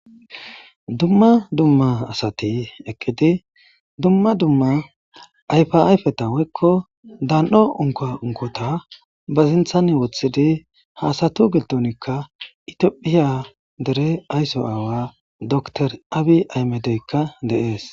dumma dumma asati eqqidi dumma dumma ayfa ayfeta woykko daan7o unka unkota ba sinthan wothidi haasatu giltonikka itiopphiya dere aysso aawa dotr abi aymedeykka deees